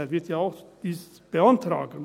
Er wird dies ja oft beantragen.